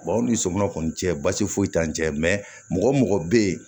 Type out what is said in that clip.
anw ni sominɛn kɔni cɛ basi foyi t'an cɛ mɔgɔ o mɔgɔ bɛ yen